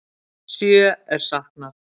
Sjö er saknað.